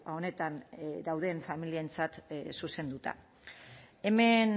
honetan dauden familientzat zuzenduta hemen